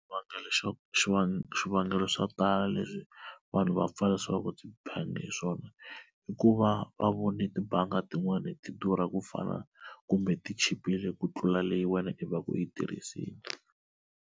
Xwivangelo xa xivangelo swivangelo swo tala leswi vanhu va pfalisiwaka tibangi hi swona i ku va va vone tibangi tin'wani tidurha ku fana kumbe tichipile ku tlula leyi wena i va ku yi tirhisini.